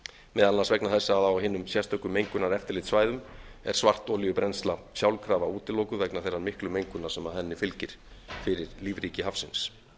meðal annars vegna þess að á hinum sérstöku mengunareftirlitssvæðum er svartolíubrennsla sjálfkrafa útilokuð vegna þeirrar miklu mengunar sem henni fylgir fyrir lífríki hafsins